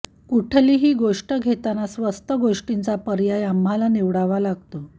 कुठलीही गोष्ट घेताना स्वस्त गोष्टींचा पर्याय आम्हाला निवडावा लागतो